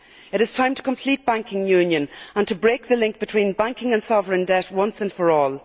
It is time to complete banking union and to break the link between banking and sovereign debt once and for all.